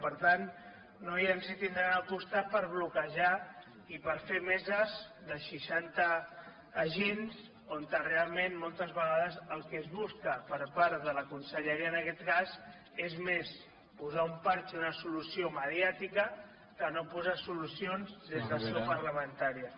per tant no ens hi tindran al costat per bloquejar i per fer meses de seixanta agents on realment moltes vegades el que es busca per part de la conselleria en aquest cas és més posar un pegat una solució mediàtica que no posar solucions des de seu parlamentària